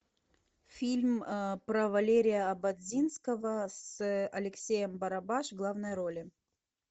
фильм про валерия ободзинского с алексеем барабаш в главной роли